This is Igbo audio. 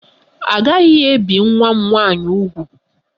A gaghị ebi nwa m nwaanyị úgwù!